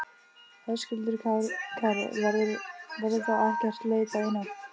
Höskuldur Kári: Verður þá ekkert leitað í nótt?